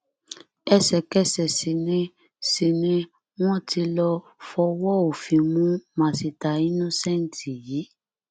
ẹsẹkẹsẹ sì ni sì ni wọn ti lọọ fọwọ òfin mú masita innocent yìí